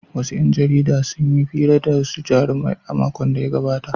Wasu ‘yan jarida sun yi hira da wasu jarumai a makon da ya gabata.